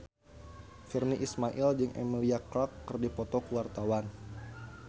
Virnie Ismail jeung Emilia Clarke keur dipoto ku wartawan